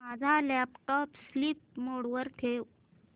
माझा laptop sleep mode वर ठेव